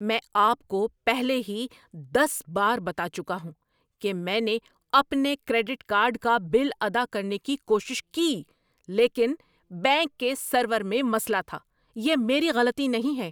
میں آپ کو پہلے ہی دس بار بتا چکا ہوں کہ میں نے اپنے کریڈٹ کارڈ کا بل ادا کرنے کی کوشش کی لیکن بینک کے سرور میں مسئلہ تھا۔ یہ میری غلطی نہیں ہے!